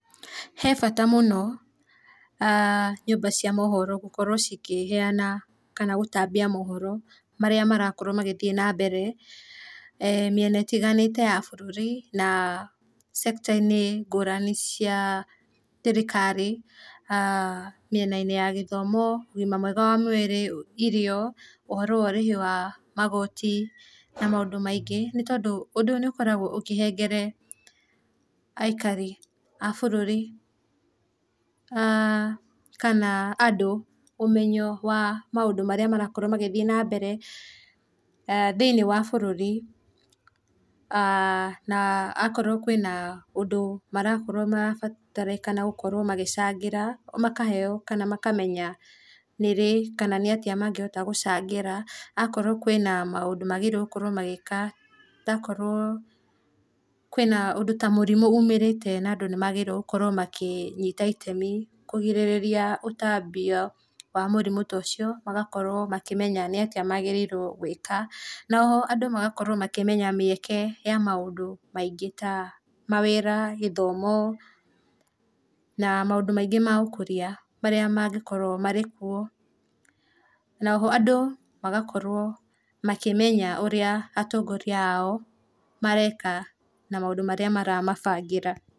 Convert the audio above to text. He bata mũno nyũmba cia mohoro gũkorwo cikĩheana kana gũtambia mohoro marĩa marakorwo magĩthiĩ na mbere mĩena ĩtiganĩte ya bũrũri na cekita-inĩ ngũrani cia thirikari, mĩena-inĩ ya gĩthomo, ũgima mwega wa mwĩrĩ, irio, ũhoro wa ũrĩhi wa magoti na maũndũ maingĩ nĩ tondũ ũndũ ũyũ nĩũkora ũkĩhengere aikari a bũrũri kana andũ ũmenyo wa maũndũ marĩa marakorwo magĩthiĩ na mbere thĩiniĩ wa bũrũri na akorwo kwĩna ũndũ marakorwo marabatarĩkana gũkorwo magĩcangĩra makaheo kana makamenya nĩ rĩ kana nĩatĩa mangĩhota gũcangĩra , akorwo kwĩna maũndũ magĩrĩirwo magĩka akorwo kwĩna mũrimũ umĩrĩte na andũ nĩmagĩrĩirwo gũkorwo makĩnyita itemi kũrigĩrĩria ũtambio wa mũrimũ ta ũcio magakorwo makĩmenya nĩ atĩa magĩrĩirwo gwĩka na oho andũ magakwo makĩmenya mĩeke ya maũndũ maingĩ ta mawĩra, gĩthomo na maũndũ maingĩ ma ũkũria marĩa mangĩkorwo marĩ kuo, na oho andũ magakorwo makĩmenya ũrĩa atongoria ao mareka na maũndũ marĩa maramabangĩra.